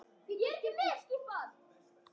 Láttu hafna þér.